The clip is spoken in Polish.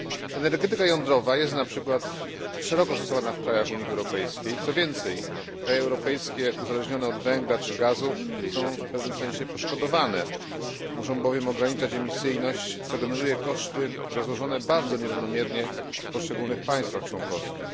Energetyka jądrowa jest np. szeroko stosowana w krajach Unii Europejskiej, co więcej kraje europejskie uzależnione od węgla czy gazu są w pewnym sensie poszkodowane, muszą bowiem ograniczać emisyjność, co generuje koszty rozłożone bardzo nierównomiernie w poszczególnych państwach członkowskich.